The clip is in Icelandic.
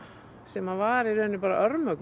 sem var í raun bara